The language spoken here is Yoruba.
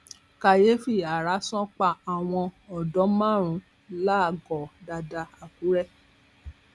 kàyééfì ààrá sán pa àwọn odò márùnún làgọọ dàda àkùrẹ